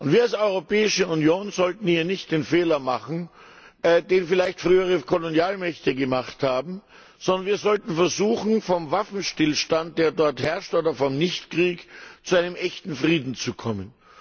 Wir als Europäische Union sollten hier nicht den Fehler machen, den vielleicht frühere Kolonialmächte gemacht haben, sondern wir sollten versuchen, vom Waffenstillstand, der dort herrscht, oder von Nicht Krieg, zu einem echten Frieden zu kommen.